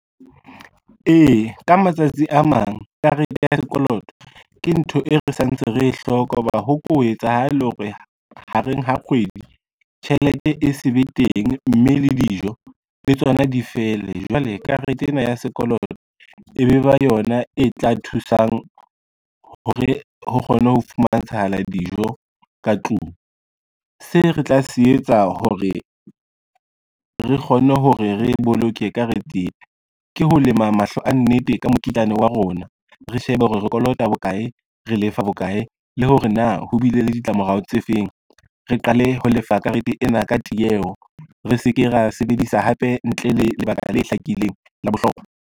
Ee, ka matsatsi a mang karete ya sekoloto ke ntho e re santse re e hloka, ho ba ho ko etsa hale hore ha re ha kgwedi tjhelete e se be teng, mme le dijo le tsona di fele. Jwale karete ena ya sekoloto e be ba yona e tla thusang hore ho kgone ho fumantshahala dijo ka tlung. Se re tla se etsa hore re kgonne hore re boloke ka re tsebe ke ho lema mahlo a nnete ka mokitlane wa rona, re shebe hore re kolota bokae, re lefa bokae, le hore na ho bile le ditlamorao tse feng. Re qale ho lefa karete ena ka tieho, re se ke ra sebedisa hape ntle le lebaka le hlakileng la bohlokwa.